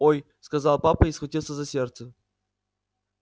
ой сказал папа и схватился за сердце